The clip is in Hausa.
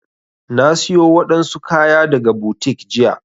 Na siyo wadansu kaya daga boutique jiya.